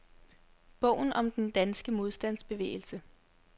Bogen om den danske modstandsbevægelse.